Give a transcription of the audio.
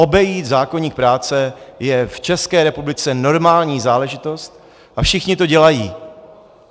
Obejít zákoník práce je v České republice normální záležitost a všichni to dělají.